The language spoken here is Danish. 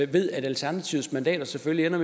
ved at alternativets mandater selvfølgelig